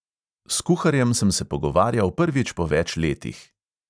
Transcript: S kuharjem sem se pogovarjal prvič po več letih.